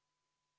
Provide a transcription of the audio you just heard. Kohtume homme!